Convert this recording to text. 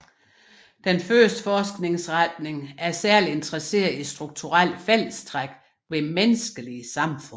Den første forskningsretning er særligt interesseret i strukturelle fællestræk ved menneskelige samfund